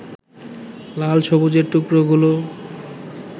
লাল সবুজের টুকরোগুলো